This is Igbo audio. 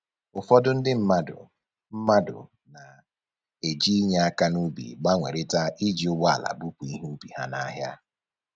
Ụfọdụ ndị mmadụ mmadụ na-eji inye aka n'ubi gbanwerịta iji ụgbọala bupu ihe ubi ha n'ahịa